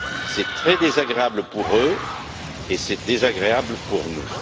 C'est très désagréable pour eux et c'est désagréable pour nous.